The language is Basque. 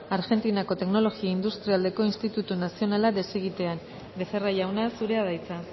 argentinako teknologia industrialeko institutu nazionala desegitean becerra jauna zurea da hitza